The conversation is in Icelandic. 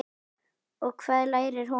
Og hvað lærir hún?